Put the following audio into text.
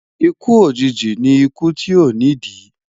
ikú òjìji ní ikú tí o ni di